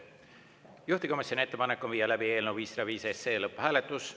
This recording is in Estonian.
Juhtivkomisjoni ettepanek on viia läbi eelnõu 505 lõpphääletus.